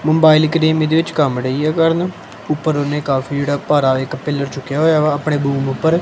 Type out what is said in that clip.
Mobile ਕਰੀਮ ਇਹਦੇ ਵਿੱਚ ਕੰਮ ਨਹੀਂ ਹੈ ਕਰਨਾ ਉਪਰ ਓਹਦੇ ਕਾਫੀ ਜਿਹੜਾ ਭਾਰਾ ਇੱਕ ਪਿੱਲ਼ਰ ਚੁੱਕਿਆ ਹੋਇਆ ਵਾ ਆਪਣੇ ਊਪਰ।